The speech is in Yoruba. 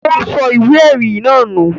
Ó sọ ìwé-ẹ̀rí náà nù?